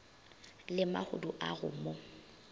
le mahodu a go mo